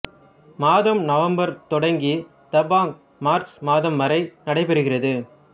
மாதம் நவம்பர் தொடங்கி தாபாங் மார்ச் மாதம் வரை நடைபெறுகிறது